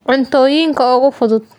Cuntooyinka ugu fudud.